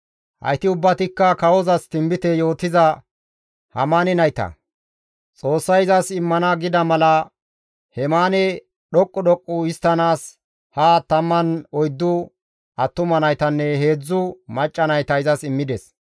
Hayti ubbatikka kawozas tinbite yootiza Hemaane nayta; Xoossay izas immana gida mala Hemaane dhoqqu dhoqqu histtanaas ha 14 attuma naytanne 3 macca nayta izas immides.